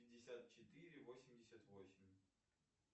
пятьдесят четыре восемьдесят восемь